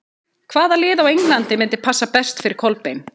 Hvaða lið á Englandi myndi passa best fyrir Kolbeinn?